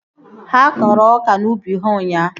Ha kọrọ ọka n'ubi ha ụnyaahụ